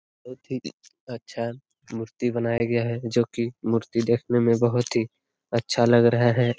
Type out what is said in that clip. बोहोत्त ही अच्छा मूर्ति बनाया गया है जो कि मूर्ति देखने में बहुत ही अच्छा लग रहा है।